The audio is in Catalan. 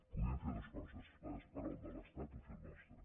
podíem fer dues coses esperar el de l’estat o fer el nostre